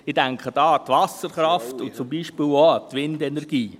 Ich denke dabei an die Wasserkraft und zum Beispiel auch an die Windenergie.